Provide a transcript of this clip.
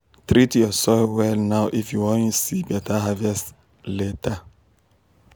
treat your soil well now if you wan see better harvest later.